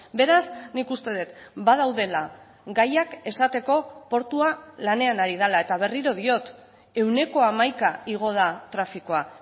beraz nik uste dut badaudela gaiak esateko portua lanean ari dela eta berriro diot ehuneko hamaika igo da trafikoa